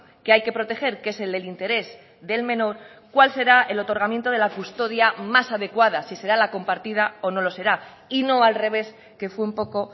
que hay que proteger que es el del interés del menor cuál será el otorgamiento de la custodia más adecuada si será la compartida o no lo será y no al revés que fue un poco